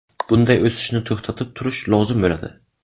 Bunday o‘sishni to‘xtatib turish lozim bo‘ladi.